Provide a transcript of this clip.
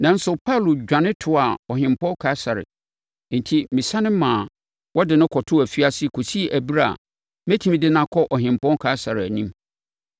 Nanso, Paulo dwane toaa Ɔhempɔn Kaesare. Enti mesane maa wɔde no kɔtoo afiase kɔsi ɛberɛ a metumi de no akɔ Ɔhempɔn Kaesare anim.”